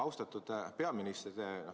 Austatud peaminister!